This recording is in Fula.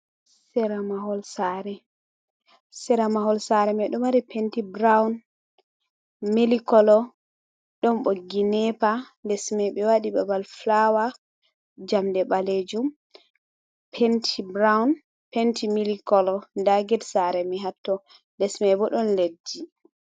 Sera mahol sare sera mahol sare mai ɗo mari penti brown, mili kolo, ɗon ɓoggi nepa les mai ɓe waɗi babal fulawa jamɗe ɓalejum penti brown, penti mili kolo nda ged sare mai hatto les mai bo ɗon leɗɗi.